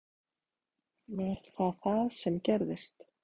Var það það sem gerðist?